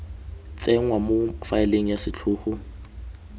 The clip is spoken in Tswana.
tsenngwa mo faeleng ya setlhogo